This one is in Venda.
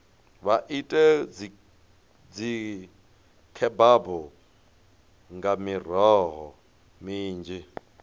vha ite dzikhebabu nga miroho minzhi